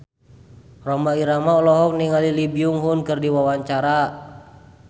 Rhoma Irama olohok ningali Lee Byung Hun keur diwawancara